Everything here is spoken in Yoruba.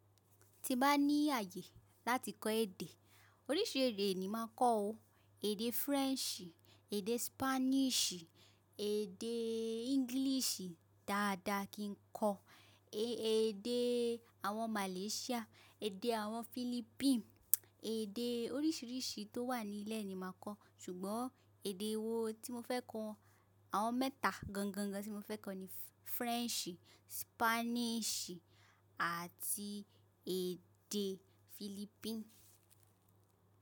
Ti bá ní ààyè láti kọ́ èdè, oríṣi èdè ni máa kọ́ ọ. Èdè French, èdè Spanish, èdè English dáadáa kí n kọ, èdè àwọn Malaysia, èdè àwọn Philippines, èdè oríṣìíríṣìí tó wà ní ilẹ̀ ni màá kọ́, ṣùgbọ́n èdè wo tí mo fẹ́ kọ́? Àwọn mẹ́ta gangan tí mo fẹ́ kọ́ ni French, Spanish àti èdè Philippines.